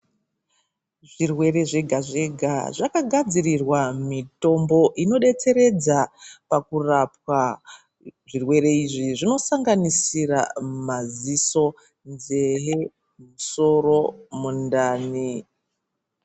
Zvirwere zvega zvega zvakagadzirirwa mitombo inodetseredza pakurapwa. Zvirwere izvi zvinosanganisira maziso, nzee, soro, mundani.